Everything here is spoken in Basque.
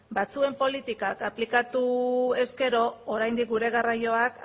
batzuen politikak aplikatu ezkero oraindik gure garraioak